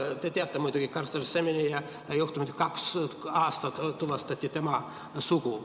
Te teate muidugi Carster Semenya juhtumit, kaks aastat tuvastati tema sugu.